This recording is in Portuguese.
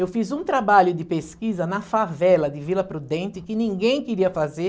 Eu fiz um trabalho de pesquisa na favela de Vila Prudente que ninguém queria fazer.